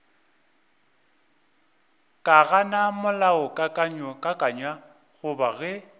ka gana molaokakanywa goba ge